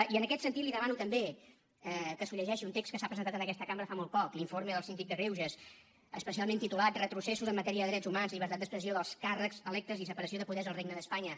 i en aquest sentit li demano també que es llegeixi un text que s’ha presentat en aquesta cambra fa molt poc l’informe del síndic de greuges especialment titulat retrocessos en matèria de drets humans llibertat d’expressió dels càrrecs electes i separació de poders al regne d’espanya